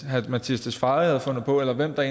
herre mattias tesfaye havde fundet på eller hvem der